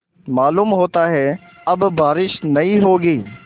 मालूम होता है अब बारिश नहीं होगी